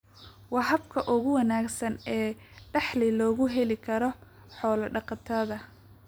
waa habka ugu wanaagsan ee dakhli loogu heli karo xoola-dhaqatada.